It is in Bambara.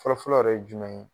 Fɔlɔ-fɔlɔ yɛrɛ ye jumɛn ye